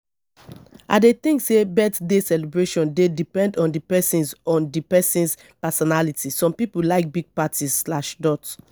i dey think say birthday celebration dey depend on di person's on di person's personality some people like big parties slash dot